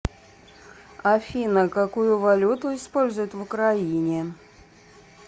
афина какую валюту используют в украине